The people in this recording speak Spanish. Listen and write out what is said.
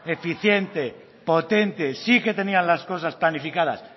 eficiente potente sí que tenían las cosas planificadas